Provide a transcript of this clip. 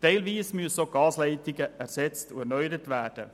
Teilweise müssen auch die Gasleitungen ersetzt und erneuert werden.